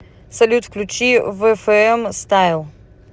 салют включи вэфээм стайл